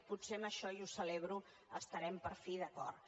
potser en això i ho celebro estarem per fi d’acord